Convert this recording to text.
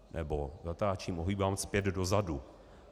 Nebo zatáčím, ohýbám zpět dozadu.